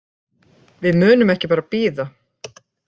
Við munum ekki bara bíða.